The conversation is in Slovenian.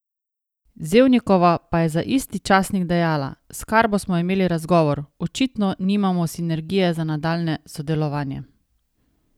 Zevnikova pa je za isti časnik dejala: 'S Karbo smo imeli razgovor, očitno nimamo sinergije za nadaljnje sodelovanje'.